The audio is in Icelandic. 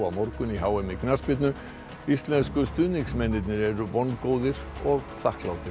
á morgun á h m í knattspyrnu íslensku stuðningsmennirnir eru vongóðir og þakklátir